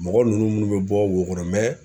Mɔgɔ nunnu mun be bɔ wo kɔnɔ